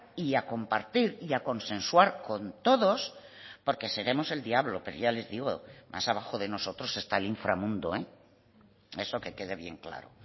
y a compartir y a consensuar con todos porque seremos el diablo pero ya les digo más abajo de nosotros está el inframundo eso que quede bien claro